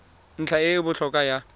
ntlha e e botlhokwa ya